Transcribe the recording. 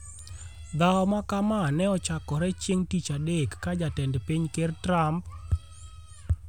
Dhawo ma ka ma ne ochakore chieng' Tich Adek ka Jatend piny ker Trump